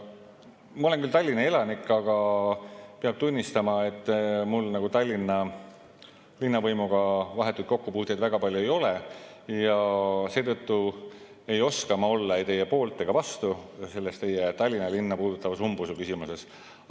Ma olen küll Tallinna elanik, aga peab tunnistama, et mul nagu Tallinna linnavõimuga vahetuid kokkupuuteid väga palju ei ole, ja seetõttu ei oska ma olla ei teie poolt ega vastu selles teie Tallinna linna puudutavas umbusu küsimuses.